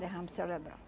derrame cerebral.